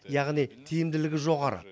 яғни тиімділігі жоғары